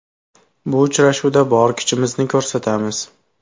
Bu uchrashuvda bor kuchimizni ko‘rsatamiz.